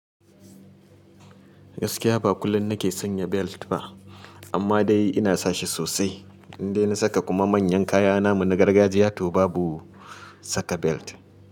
Gaskiya ba kullum nake sanya belt ba amma dai ina sa shi sosai. Indai na saka kuma manyan kaya namu na gargajiya to babu saka belt.